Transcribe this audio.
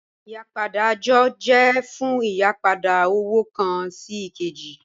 Ìyìpadà ajọ jẹ̀ fún ìyìpadà owo kan sí èkèjì